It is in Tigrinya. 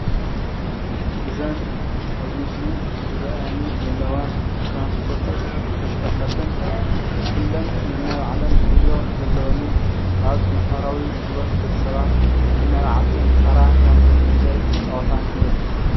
እዘን ኣብዚ ምስሊ ዝረአያኒ ዘለዋ ትራንስፖርትን ተሽከርከርትን ኩለን ነናይ ባዕለን ዕዮ ዘለወንን ኣብ ማሕበራዊ ሂወት ደቂ ሰባት ነናይ ባዕልተን ተራ ማለት እዉን ግደ ዝጫወታን እየን።